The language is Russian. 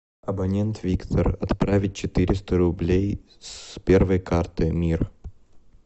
абонент виктор отправить четыреста рублей с первой карты мир